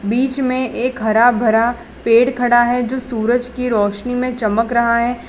बीच में एक हरा भरा पेड़ खड़ा हैं जो सूरज की रोशनी में चमक रहा हैं।